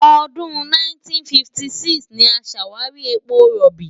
Ọdún 1956 ni a ṣàwárí epo rọ̀bì.